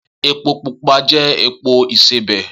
Epo pupa jẹ́ epo ìsebẹ̀